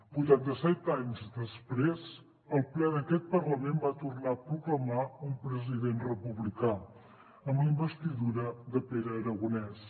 vuitanta set anys després el ple d’aquest parlament va tornar a proclamar un president republicà amb la investidura de pere aragonès